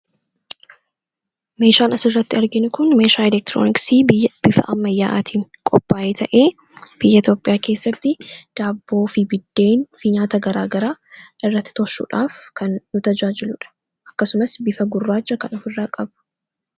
meeshaan as irratti arginu kun meeshaa elektirooniksii bifa ammayyaatiin qopaa'ee ta'ee biyya Itoophiyaa keessatti daabboo fi biddeen fi nyaata garaagaraa irratti toshuudhaaf kan nu tajaajiluudha akkasumas bifa gurraacha kanqabu ofirraa qaba.